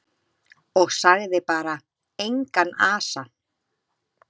Og sagði bara: Engan asa.